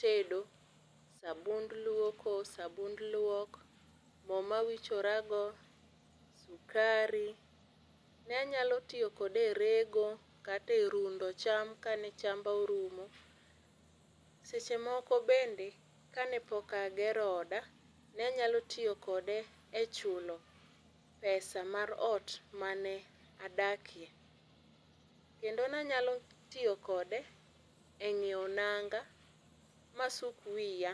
tedo, sabund luoko, sabund luok, moo ma awichora go, sukari, ne anyalo tiyo kode e rego kata e rundo cham kane chamba orumo. Seche moko bende kane pok agero oda ne anyalo tiyo kode e chulo pesa mar ot mane adakie. Kendo ne anyalo tiyo kode e ngiew nanga ma asuk wiya